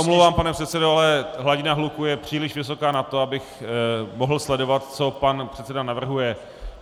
Já se omlouvám, pane předsedo, ale hladina hluku je příliš vysoká na to, abych mohl sledovat, co pan předseda navrhuje.